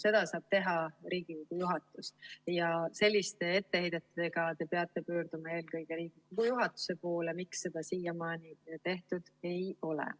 Seda saab teha Riigikogu juhatus ja selliste etteheidetega te peate pöörduma eelkõige Riigikogu juhatuse poole, miks seda siiamaani tehtud ei ole.